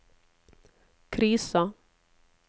krisa